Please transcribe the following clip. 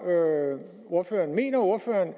ordføreren mener ordføreren